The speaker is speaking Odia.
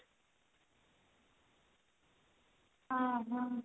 ହଁ ହଁ